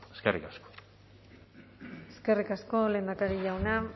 eskerrik asko eskerrik asko lehendakari jauna